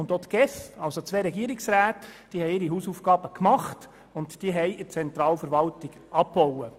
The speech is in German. Ich habe gesehen, dass die ERZ und die GEF ihre Hausaufgaben gemacht und bei der Zentralverwaltung abgebaut haben.